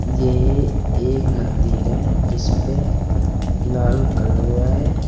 यह एक मंदिर है जिसपे लाल कलर हो रहा है।